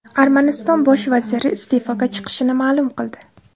Armaniston bosh vaziri iste’foga chiqishini ma’lum qildi .